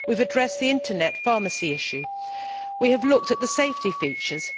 We have addressed the Internet pharmacy issue. We have looked at the safety features.